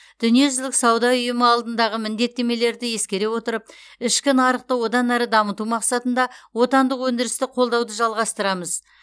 дүниежүзілік сауда ұйымы алдындағы міндеттемелерді ескере отырып ішкі нарықты одан әрі дамыту мақсатында отандық өндірісті қолдауды жалғастырамыз